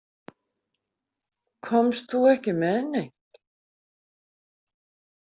Komst þú ekki með neitt?